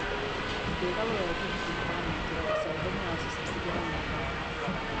Zbegalo jo je tiho hihitanje, toda ko se je obrnila, so se vsi delali nedolžne.